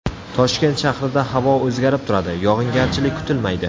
Toshkent shahrida havo o‘zgarib turadi, yog‘ingarchilik kutilmaydi.